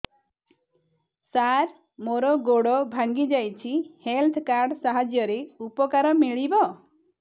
ସାର ମୋର ଗୋଡ଼ ଭାଙ୍ଗି ଯାଇଛି ହେଲ୍ଥ କାର୍ଡ ସାହାଯ୍ୟରେ ଉପକାର ମିଳିବ